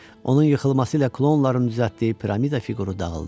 Onun yıxılması ilə klonların düzəltdiyi piramida fiquru dağıldı.